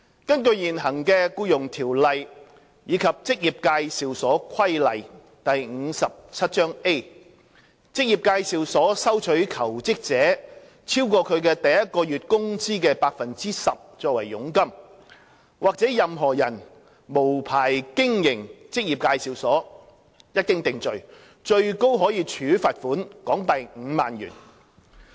根據現行的《僱傭條例》及《職業介紹所規例》，職業介紹所收取求職者超過其第一個月工資的 10% 作為佣金，或任何人無牌經營職業介紹所，一經定罪，最高可處罰款港幣5萬元。